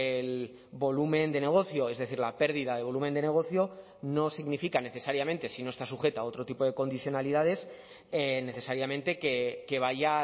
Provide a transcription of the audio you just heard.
el volumen de negocio es decir la pérdida de volumen de negocio no significa necesariamente si no está sujeta a otro tipo de condicionalidades necesariamente que vaya a